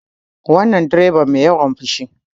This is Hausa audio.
Wannan direban mai yawan fushi